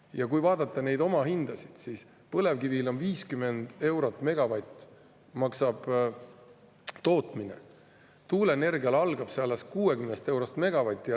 Ja kui vaadata neid omahindasid, siis põlevkivi puhul maksab tootmine 50 eurot megavatt, tuuleenergial algab see alles 60 eurost megavatt.